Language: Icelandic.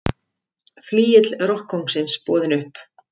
Flygill rokkkóngsins boðinn upp